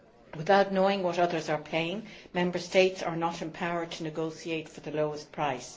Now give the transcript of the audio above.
Without knowing what others are paying, Member States are not empowered to negotiate for the lowest price.